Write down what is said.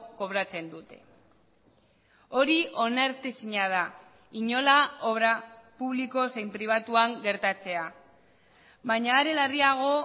kobratzen dute hori onartezina da inola obra publiko zein pribatuan gertatzea baina are larriago